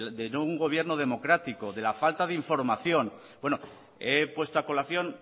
de no un gobierno democrático de la falta de información bueno he puesto a colación